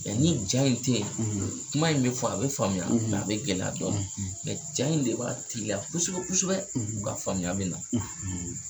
Mɛ ni ja in tɛ yen, ,kuma in bɛ fɔ a bɛ faamuya, , mɛ a bɛ gɛlɛya dɔɔnni, , mɛ ja in de b'a teliya kosɛbɛ kosɛbɛ, , u ka faamuya be na,